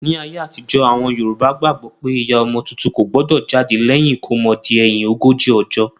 Ní ayé àtijọ́, àwọn Yorùbá gbàgbó pé ìyá ọmọ tuntun kò gbọdọ̀ jáde lẹ́yìn ìkómọ di ẹ̀yin ogójì ọjọ́